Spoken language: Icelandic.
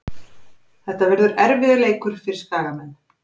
Þetta verður erfiður leikur fyrir Skagamenn.